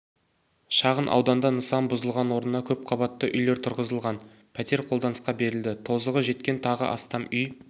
шағын ауданда нысан бұзылған орнына көпқабатты үйлер тұрғызылған пәтер қолданысқа берілді тозығы жеткен тағы астам үй